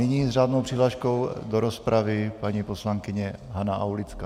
Nyní s řádnou přihláškou do rozpravy paní poslankyně Hana Aulická.